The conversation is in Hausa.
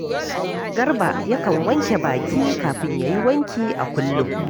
Garba yakan wanke baki kafin ya yi wanki a kullum